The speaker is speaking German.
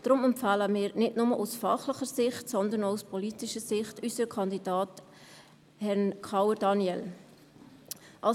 Deshalb empfehlen wir nicht nur aus fachlicher, sondern auch aus politischer Sicht unseren Kandidaten Herrn Daniel Kauer.